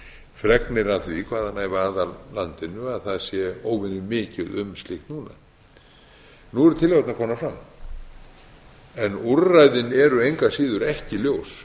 fregnir af því hvaðanæva að af landinu að það sé óvenju mikið um slíkt núna nú eru tillögurnar komnar fram en úrræðin eru engu að síður ekki ljós